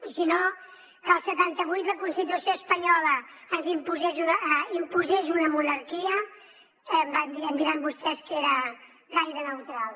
i si no que el setanta vuit la constitució espanyola ens imposés imposés una monarquia ja em diran vostès que era gaire neutral